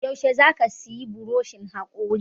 Yaushe zaka sayi buroshin haƙorin?